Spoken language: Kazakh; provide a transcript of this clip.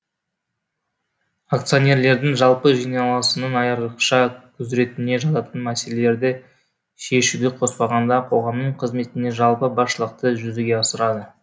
акционерлердің жалпы жиналасының айрықша құзыретіне жататын мәселелерді шешуді қоспағанда қоғамның қызметіне жалпы басшылықты жүзеге асырады